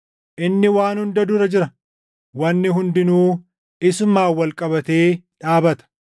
Inni waan hunda dura jira; wanni hundinuu isumaan wal qabatee dhaabata.